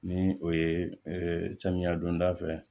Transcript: Ni o ye samiya donda fɛ